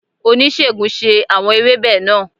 Onisegun ṣe awọn ewebe naa